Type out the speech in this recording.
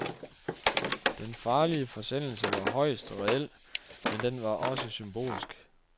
Den farlige forsendelse var højst reel, men den var også symbolsk.